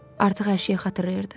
Artıq hər şeyi xatırlayırdı.